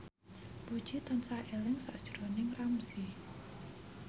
Puji tansah eling sakjroning Ramzy